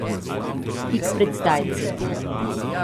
Tik pred zdajci.